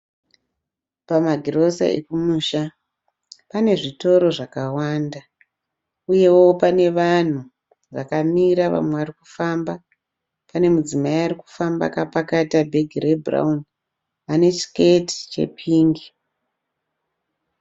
Pamagirosa ekumusha. Pane zvitoro zvakawanda uyewo pane vanhu vakamira vamwe varikufamba. Pane mudzimai ari kufamba akapakata bhegi rebhurawuni ane chisiketi chepingi.